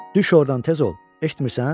Düş ordan, tez ol, eşitmirsən?